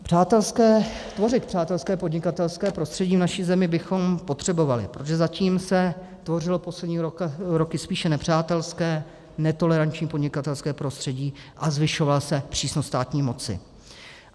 Tvořit přátelské podnikatelské prostředí v naší zemi bychom potřebovali, protože zatím se tvořilo poslední roky spíše nepřátelské, netoleranční podnikatelské prostředí, a zvyšovala se přísnost státní moci.